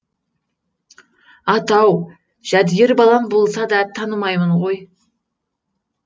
ата ау жәдігер балам болса да танымаймын ғой